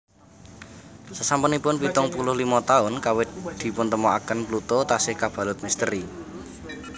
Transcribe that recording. Sasampunipun pitung puluh limo taun kawit dipuntemoaken Pluto tasih kabalut misteri